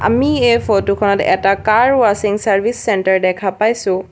আমি এই ফটো খনত এটা কাৰ ওৱাছিং চাৰ্ভিচ চেন্টাৰ দেখা পাইছোঁ।